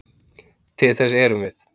Til þess erum við.